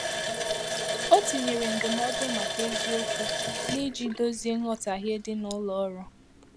O tinyèrè ndụmọdụ màkà eziokwu ná iji dozie nghotahie dị ná ụlọ ọrụ.